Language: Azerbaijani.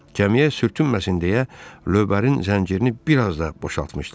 Kəmiyə sürtünməsə də, lövbərin zəncirini biraz da boşaltmışdılar.